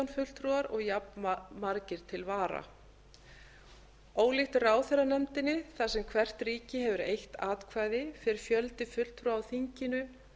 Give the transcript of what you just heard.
fulltrúar og jafnmargir til vara ólíkt ráðherranefndinni þar sem hvert ríki hefur eitt atkvæði fer fjöldi fulltrúa á þinginu